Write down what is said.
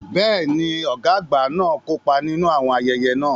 Bẹ́ẹ̀ ni, ọ̀gá àgbà náà kópa nínú àwọn ayẹyẹ náà